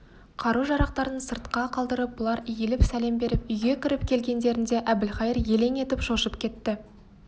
қару-жарақтарын сыртқа қалдырып бұлар иіліп сәлем беріп үйге кіріп келгендерінде әбілқайыр елең етіп шошып кетті